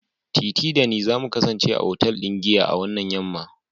tetee da ni za my kasance a otal ɗin giya a wannan yam'ma